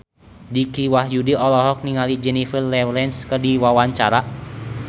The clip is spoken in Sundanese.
Dicky Wahyudi olohok ningali Jennifer Lawrence keur diwawancara